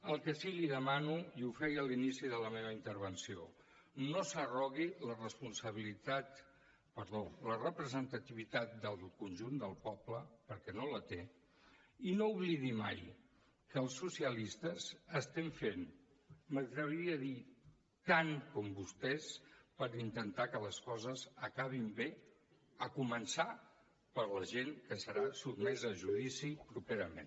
el que sí que li demano i ho feia a l’inici de la meva intervenció no s’arrogui la representativitat del conjunt del poble perquè no la té i no oblidi mai que els socialistes estem fent m’atreviria a dir tant com vostès per intentar que les coses acabin bé començant per la gent que serà sotmesa a judici properament